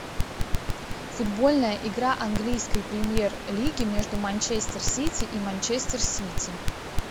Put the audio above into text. футбольная игра английской премьер лиги между манчестер сити и манчестер сити